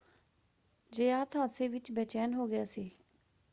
ਜ਼ਯਾਤ ਹਾਦਸੇ ਵਿੱਚ ਬੇਚੈਨ ਹੋ ਗਿਆ ਸੀ।